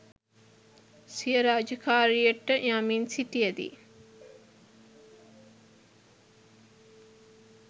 සිය රාජකාරියට යමින් සිටිය දී